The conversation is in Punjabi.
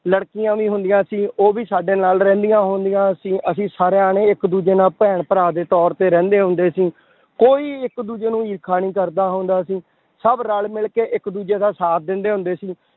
ਲੜਕੀਆਂ ਵੀ ਹੁੰਦੀਆਂ ਸੀ ਉਹ ਵੀ ਸਾਡੇ ਨਾਲ ਰਹਿੰਦੀਆਂ ਹੁੰਦੀਆਂ ਸੀ ਅਸੀਂ ਸਾਰੇ ਜਾਣੇ ਇੱਕ ਦੂਜੇ ਨਾਲ ਭੈਣ ਭਰਾ ਦੇ ਤੌਰ ਤੇ ਰਹਿੰਦੇ ਹੁੰਦੇ ਸੀ, ਕੋਈ ਇੱਕ ਦੂਜੇ ਨੂੰ ਈਰਖਾ ਨੀ ਕਰਦਾ ਹੁੰਦਾ ਸੀ, ਸਭ ਰਲ ਮਿਲਕੇ ਇੱਕ ਦੂਜੇ ਦਾ ਸਾਥ ਦਿੰਦੇ ਹੁੰਦੇ ਸੀ,